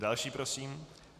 Další prosím.